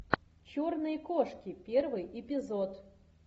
черные кошки первый эпизод